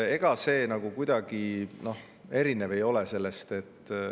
Ega see kuidagi erinev ei ole sellest.